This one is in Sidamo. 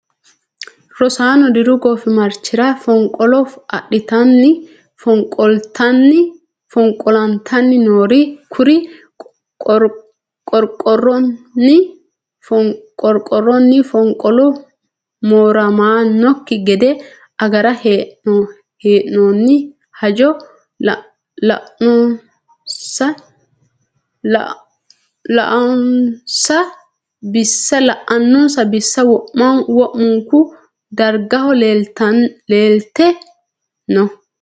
Rosano diru goofimarchira fonqolo adhittanni fonqolattani noore kuri qorqoranni fonqolu mooramanokki gede agare hee'nonni hajo la"anonsa bissa wo'munku dargaho leelte no.